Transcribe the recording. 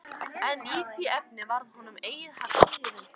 En í því efni varð honum eigi haggað.